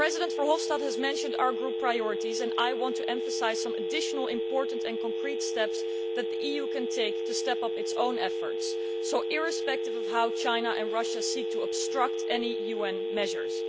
Mr Verhofstadt has mentioned our group priorities and I want to emphasise some additional important and concrete steps that the EU can take to step up its own efforts, irrespective of how China and Russia seek to obstruct any UN measures.